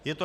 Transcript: Je to